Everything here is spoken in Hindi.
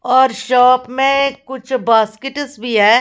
और शॉप में कुछ बास्केट्स भी हैं।